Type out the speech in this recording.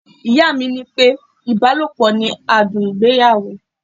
Ìyá mi ní pé ibalopo ni adùn ìgbéyàwó.